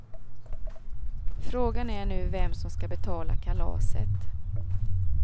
Frågan är nu vem som skall betala kalaset.